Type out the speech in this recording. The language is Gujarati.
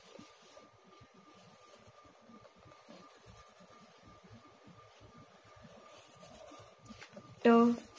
ટ